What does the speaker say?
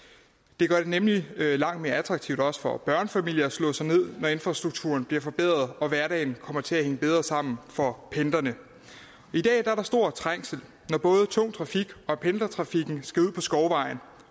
det gør det nemlig langt mere attraktivt også for børnefamilier at slå sig ned når infrastrukturen bliver forbedret og hverdagen kommer til at hænge bedre sammen for pendlerne i dag er der stor trængsel når både tung trafik og pendlertrafik skal ud på skovvejen